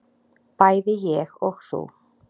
bæði ég og þú.